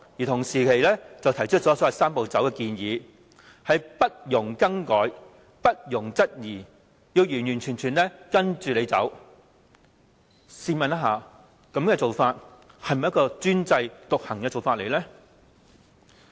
同時，又提出所謂"三步走"的建議，不容更改、不容質疑，要完全跟着政府走，試問這是否專制獨行的做法呢？